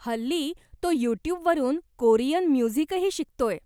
हल्ली तो यू ट्यूबवरून कोरियन म्युझिकही शिकतोय.